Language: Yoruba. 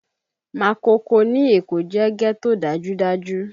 Makoko ní Èkó jẹ́ ghetto dájúdájú